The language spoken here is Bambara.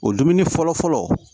O dumuni fɔlɔ fɔlɔ